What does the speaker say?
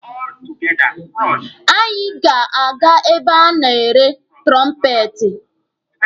Anyị ga-aga ebe a na-ere tụrọmpeti.